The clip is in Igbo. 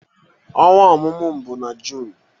Ọnwa ọmụmụ m bụ na June